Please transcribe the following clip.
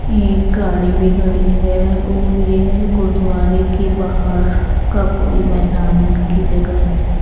ये एक गाड़ी भी खड़ी है और यह गुरुद्वारे के बहार का कोई मैदान की जगह है।